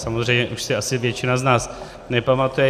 samozřejmě už si asi většina z nás nepamatuje.